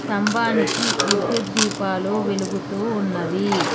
స్తంభానికి విద్యుత్ దీపాలు వెలుగుతూ ఉన్నవి.